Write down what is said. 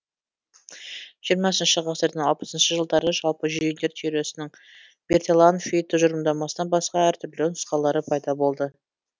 жиырмасыншы ғасырдың алпысыншы жылдары жалпы жүйелер теориясының берталанфи тұжырымдамасынан басқа әртүрлі нұсқалары пайда болды